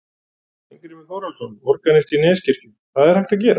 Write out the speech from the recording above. Steingrímur Þórhallsson, organisti í Neskirkju: Hvað er hægt að gera?